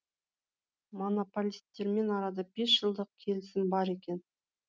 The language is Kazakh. монополистермен арада бес жылдық келісім бар екен